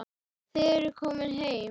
Þið eruð komin heim.